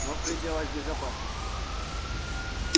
но в пределах безопасности